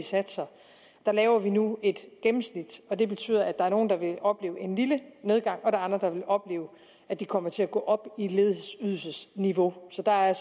satser der laver vi nu et gennemsnit og det betyder at der er nogle der vil opleve en lille nedgang og der er andre der vil opleve at de kommer til at gå op i ledighedsydelsesniveau så der er